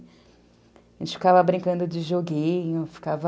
A gente ficava brincando de joguinho, ficava...